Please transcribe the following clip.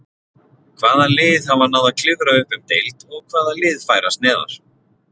Hvaða lið hafa náð að klifra upp um deild og hvaða lið færast neðar?